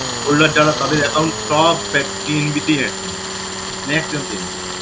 holder যারা তাদের account সব PNB তেই maximum maximum PNB